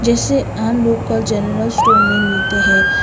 जैसे आम local general store में मिलते है।